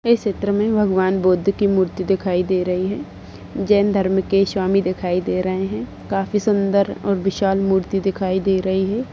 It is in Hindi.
इस चित्र मे भगवान बुद्ध की मूर्ति दिखाई दे रही है जैन धर्म के स्वामी दिखाई दे रहे हैं काफी सुंदर और विशाल मूर्ति दिखाई दे रही है।